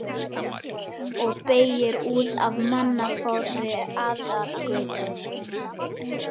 Og beygir út af mannfárri aðalgötunni.